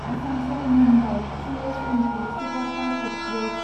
Asansol Mumbai C S M T superfast express